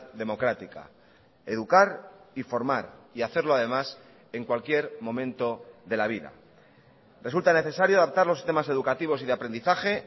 democrática educar y formar y hacerlo además en cualquier momento de la vida resulta necesario adaptar los sistemas educativos y de aprendizaje